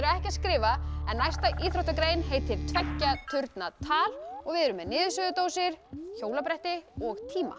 ekki að skrifa næsta íþróttagrein heitir tveggja turna tal við erum með niðursuðudósir hjólabretti og tíma